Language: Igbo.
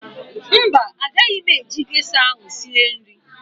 Mba, agaghị m eji gesha ahụ sie nri